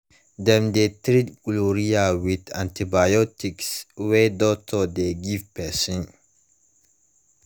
dem de treat gonorrhea with antibiotics wey doctors de give person